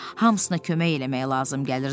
Hamısına kömək eləmək lazım gəlirdi.